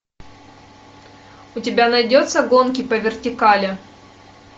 у тебя найдется гонки по вертикали